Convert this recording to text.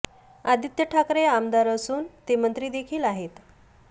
आदित्य ठाकरे आमदार असून ते मंत्री देखील आहेत